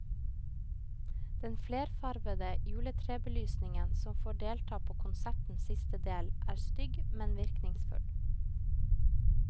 Den flerfarvede juletrebelysningen som får delta på konsertens siste del, er stygg, men virkningsfull.